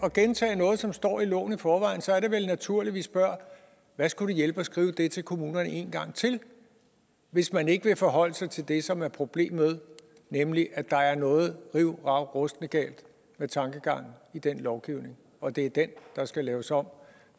at gentage noget som står i loven i forvejen så er det vel naturligt at vi spørger hvad skulle det hjælpe at skrive det til kommunerne en gang til hvis man ikke vil forholde sig til det som er problemet nemlig at der er noget rivravruskende galt med tankegangen i den lovgivning og at det er den der skal laves om